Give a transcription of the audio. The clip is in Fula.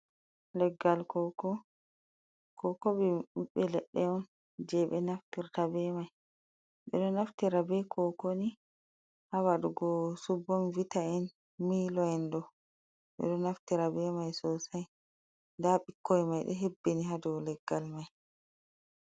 Leggal koko. Koko biɓbe leɗɗe on.je be naftirta be mai. beɗo naftira be kokoni ha waɗugo su bon vitaen, miloen. Ɗoɗo naftira be mai sosai nɗa bikkoi mai ɗo hebbini habɗow leggal mai.